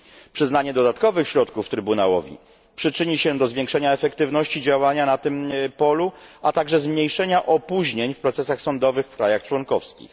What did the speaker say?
Przyznanie dodatkowych środków Trybunałowi przyczyni się do zwiększenia efektywności działania na tym polu, a także zmniejszenia opóźnień w procesach sądowych w krajach członkowskich.